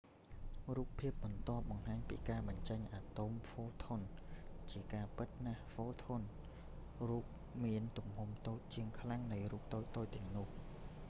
រូបភាពបន្ទាប់បង្ហាញពីការបញ្ចេញអាតូមphotons។ ជាការពិតណាស់photonsរូបមានទំហំតូចជាងខ្លាំងនៃរូបតូចៗទាំងនោះ។